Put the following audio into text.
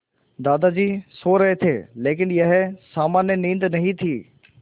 दादाजी सो रहे थे लेकिन यह सामान्य नींद नहीं थी